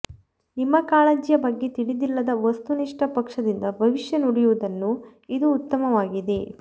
ನಿಮ್ಮ ಕಾಳಜಿಯ ಬಗ್ಗೆ ತಿಳಿದಿಲ್ಲದ ವಸ್ತುನಿಷ್ಠ ಪಕ್ಷದಿಂದ ಭವಿಷ್ಯ ನುಡಿಯುವುದನ್ನು ಇದು ಉತ್ತಮವಾಗಿದೆ